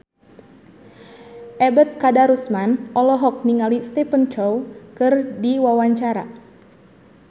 Ebet Kadarusman olohok ningali Stephen Chow keur diwawancara